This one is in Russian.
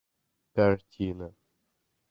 картина